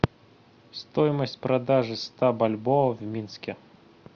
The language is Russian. стоимость продажи ста бальбоа в минске